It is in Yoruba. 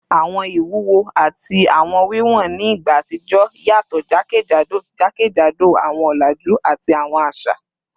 Awọn iwuwo ati awọn wiwọn ni igba atijọ yatọ jakejado jakejado awọn ọlaju ati awọn aṣa